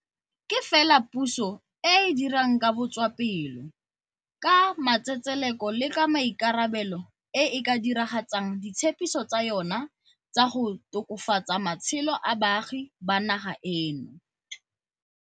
Ke fela puso e e dirang ka botswapelo, ka matsetseleko le ka maikarabelo e e ka dira gatsang ditshepiso tsa yona tsa go tokafatsa matshelo a baagi ba naga eno.